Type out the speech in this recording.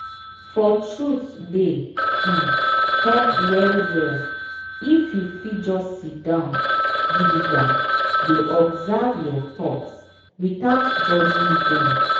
for truthe dey um help well well if you fit just siddon gidigba dey observe your thoughts without judging dem.